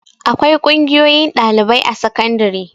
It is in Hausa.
Akwai ƙungiyoyin ɗalibai a sakandare.